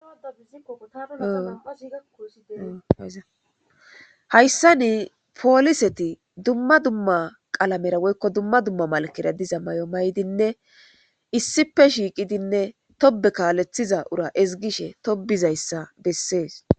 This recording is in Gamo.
Hayissan poliseti dumma dumma dumma qalamera dumma dumma malkera diza mayo mayidinne issippe shiqqiddi de'etees.